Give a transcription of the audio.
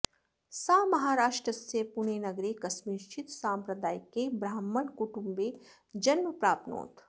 सा महाराष्ट्रस्य पुणेनगरे कस्मिंश्चित् साम्प्रदायिके ब्राह्मणकुटुम्बे जन्म प्राप्नोत्